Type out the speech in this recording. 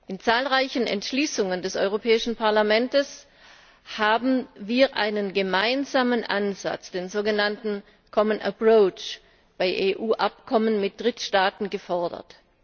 In zahlreichen Entschließungen des Europäischen Parlaments haben wir einen gemeinsamen Ansatz, den sogenannten common approach, bei EU Abkommen mit Drittstaaten gefordert.